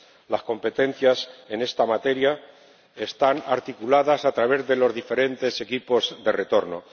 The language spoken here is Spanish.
Las competencias en esta materia están articuladas a través de los diferentes equipos de retorno.